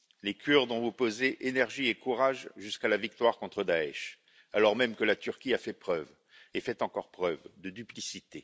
Les Kurdes ont opposé énergie et courage jusqu'à la victoire contre Daech, alors même que la Turquie a fait preuve et fait encore preuve de duplicité.